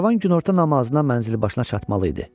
Karvan günorta namazına mənzil başına çatmalı idi.